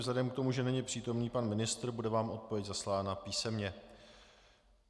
Vzhledem k tomu, že není přítomný pan ministr, bude vám odpověď zaslána písemně.